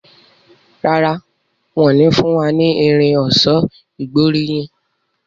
Ràrá wón ní fún wá ní Irin ọ̀ṣọ́ ìgbóríyìn.